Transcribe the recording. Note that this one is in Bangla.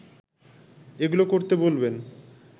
এগুলো করতে বলবেন